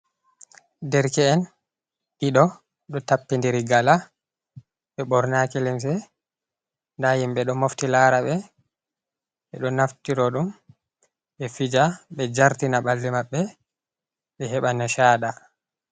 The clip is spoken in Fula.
Derke'en ɗiɗo ɗo takkindiri gala, ɓe bornaki limse, ndaa himɓe ɗo mofti laara ɓe, ɓe ɗo naftiro ɗum ɓe fija ɓe jartina ɓalli maɓɓe ɓe heɓa nishaaɗa